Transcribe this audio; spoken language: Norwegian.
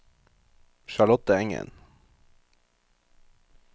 Charlotte Engen